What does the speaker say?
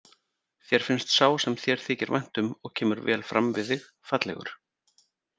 Þér finnst sá sem þér þykir vænt um og kemur vel fram við þig fallegur.